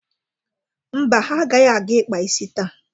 Mba, ha agaghị aga ịkpa isi taa.